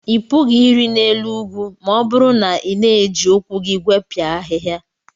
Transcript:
Ị pụghị ịrị n'elu ugwu ma ọ bụrụ na ị na-eji ụkwụ gị gwepịaghị ahịhịa.